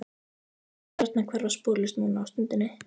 Þú mátt gjarnan hverfa sporlaust núna á stundinni.